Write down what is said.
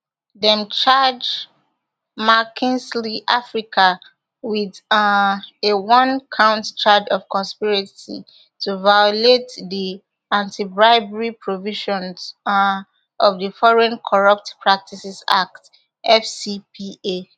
dem charge mckinsey africa wit um a one count charge of conspiracy to violate di antibribery provisions um of di foreign corrupt practices act fcpa